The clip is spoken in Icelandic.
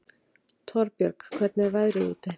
Torbjörg, hvernig er veðrið úti?